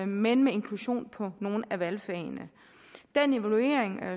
men med inklusion på nogle af valgfagene den evaluering